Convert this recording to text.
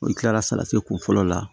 O kila la salati kun fɔlɔ la